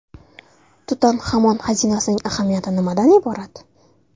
Tutanxamon xazinasining ahamiyati nimadan iborat?